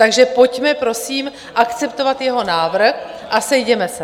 Takže pojďme prosím akceptovat jeho návrh a sejděme se.